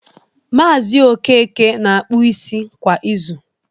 Maazi Okeke na-akpụ isi kwa izu